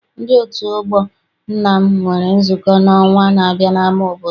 Ndi otu ọgbọ nna m nwere nzukọ n'ọnwa n'abia n'ama obodo.